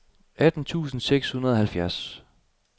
atten tusind seks hundrede og halvfjerds